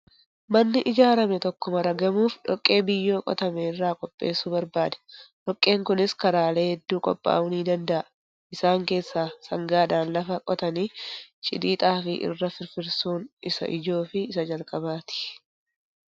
Manni ijaarame tokko maragamuuf dhoqqee biyyoo qotame irraa qopheessu barbaada. Dhoqqeen kunis karaalee hedduu qophaa'uu ni danda'a. Isaan keessaa sangaadhaan lafa qotanii cidii xaafii irra firfirsuun isa ijoo fi isa jalqabaati.